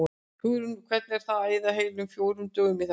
Hugrún: Og hvernig er það að eyða heilum fjórum dögum í þetta?